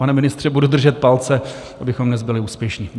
Pane ministře, budu držet palce, abychom dnes byli úspěšní.